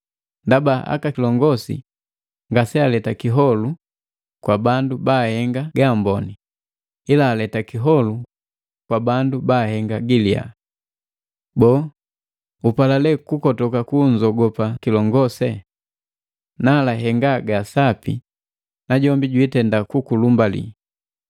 Ndaba aka kilongosi ngase aleta kiholo kwa bandu baahenga gaamboni, ila aleta kiholu kwa bandu baahenga giliya. Boo, upala lee kukotoka kunzogopa kilongose? Nala henga gaasapi najombi jwiitenda kukulumbali,